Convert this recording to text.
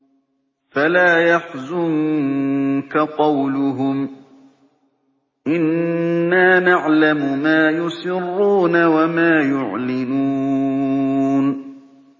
فَلَا يَحْزُنكَ قَوْلُهُمْ ۘ إِنَّا نَعْلَمُ مَا يُسِرُّونَ وَمَا يُعْلِنُونَ